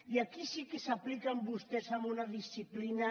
i aquí sí que s’apliquen vostès amb una disciplina